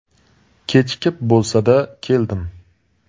Kechikib bo‘lsa-da keldim.